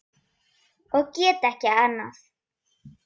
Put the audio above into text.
Og get ekki annað.